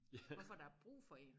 Hvorfor er der brug for én